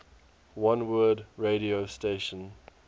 oneword radio station